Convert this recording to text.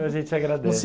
A gente agradece. Você